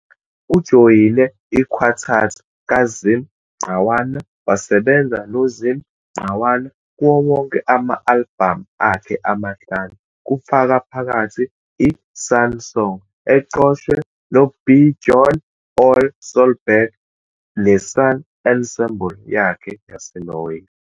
Ujoyine i-quartet kaZim Ngqawana wasebenza noZim Ngqawana kuwo wonke ama-albhamu akhe ama-5, kufaka phakathi "iSan Song" eqoshwe noBjorn Ole Solburg neSan Ensemble yakhe yaseNorway.